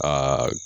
Aa